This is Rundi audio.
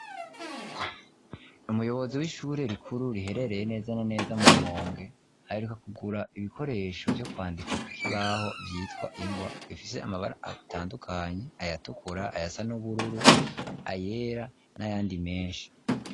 Umuyobozi, w'ishure rikuru, riherereye neza na neza, mu Rumonge, aheruka kugura ibikoresho, vyo kwandika kukibaho, vyitwa ingwa; bifise amabara atandukanye; ayatukura, ayasa n'ubururu, ayera, n'ayandi menshi.